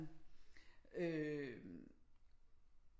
Øh